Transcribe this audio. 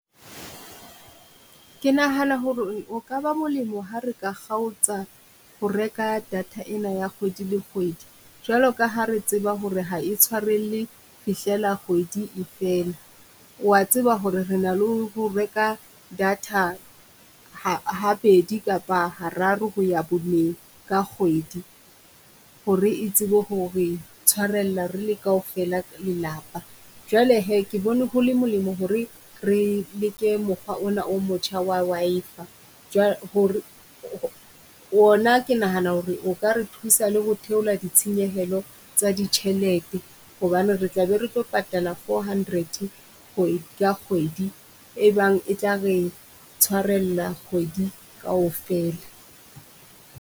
Ke nahana ho re o kaba molemo ha re ka kgaotsa ho reka data ena ya kgwedi le kgwedi, jwalo ka ha re tseba ho re ha e ntshwarelle fihlela kgwedi e fela. O wa tseba ho re re na le ho reka data ha ha bedi kapa ha raro ho ya boneng ka kgwedi, ho re e tsebe ho re tshwarella re le kaofela lelapa. Jwale hee ke bone ho le molemo ho re re leke mokgwa ona o motjha wa Wi-Fi, ho re ona ke nahana ho re o ka re thusa le ho theola ditshenyehelo tsa ditjhelete hobane re tlabe re tlo patala four hundred ka kgwedi. E bang e tla re tshwarella kgwedi kaofela.